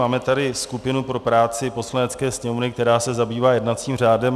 Máme tady skupinu pro práci Poslanecké sněmovny, která se zabývá jednacím řádem.